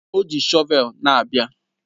O ji shọvel na-abịa